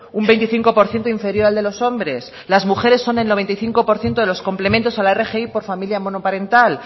un veinticinco por ciento inferior al de los hombres las mujeres son el noventa y cinco por ciento de los complementos a la rgi por familia monoparental